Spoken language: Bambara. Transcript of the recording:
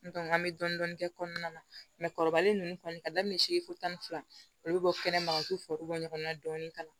an bɛ dɔɔnin dɔɔnin kɛ kɔnɔna na mɛ kɔrɔlen ninnu kɔni ka daminɛ segi fo tan ni fila olu bɛ bɔ kɛnɛma ka to foro bɔ ɲɔgɔn na dɔɔnin ka na